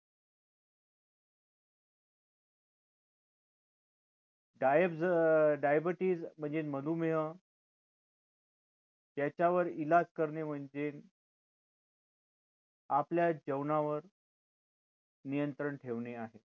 गाय जरा diabetes म्हणजे मधुमेह त्याच्यावर इलाज करणे म्हणजे आपल्या जेवणावर नियंत्रण ठेवणे आहे